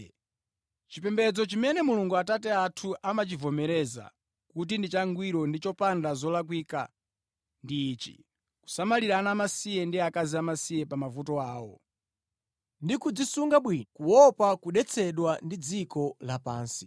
Chipembedzo chimene Mulungu Atate athu amachivomereza kuti ndi changwiro ndi chopanda zolakwika ndi ichi: kusamalira ana amasiye ndi akazi amasiye pa mavuto awo, ndi kudzisunga bwino kuopa kudetsedwa ndi dziko lapansi.